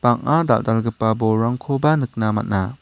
bang·a dal·dalgipa bolrangkoba nikna man·a.